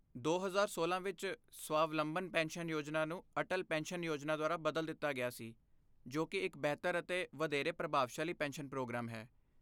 ਦੋ ਹਜ਼ਾਰ ਸੋਲਾਂ ਵਿੱਚ, ਸਵਾਵਲੰਬਨ ਪੈਨਸ਼ਨ ਯੋਜਨਾ ਨੂੰ ਅਟਲ ਪੈਨਸ਼ਨ ਯੋਜਨਾ ਦੁਆਰਾ ਬਦਲ ਦਿੱਤਾ ਗਿਆ ਸੀ, ਜੋ ਕੀ ਇੱਕ ਬਿਹਤਰ ਅਤੇ ਵਧੇਰੇ ਪ੍ਰਭਾਵਸ਼ਾਲੀ ਪੈਨਸ਼ਨ ਪ੍ਰੋਗਰਾਮ ਹੈ